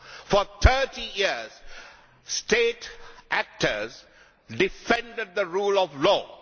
For 30 years, state actors defended the rule of law.